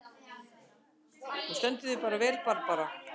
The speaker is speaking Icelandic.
Þú stendur þig vel, Barbara!